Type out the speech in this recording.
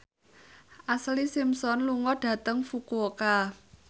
Ashlee Simpson lunga dhateng Fukuoka